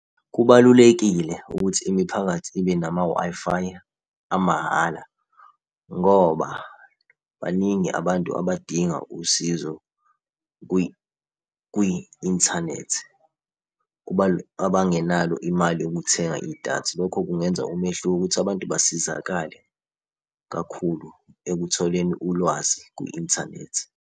Kubalulekile ukuthi imiphakathi ibe nama-Wi-Fi amahhala, ngoba baningi abantu abadinga usizo kwi-inthanethi, abangenalo imali yokuthenga idatha. Lokho kungenza umehluko ukuthi abantu basizakale kakhulu ekutholeni ulwazi kwi-inthanethi.